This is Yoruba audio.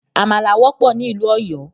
Àmàlà wọ́pọ̀ ní ìlú Òyọ́